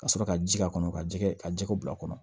Ka sɔrɔ ka ji k'a kɔnɔ ka jɛgɛ ka jɛgɛ bila a kɔnɔ